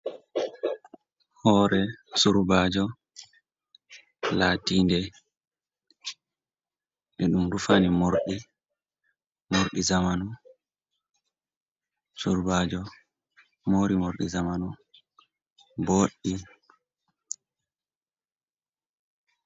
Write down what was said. Hore surbajo latinɗe e ɗum rufani surbajo mari morɗi zamanu boɗɗi.